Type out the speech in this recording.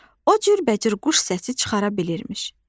O cürbəcür quş səsi çıxara bilirmiş.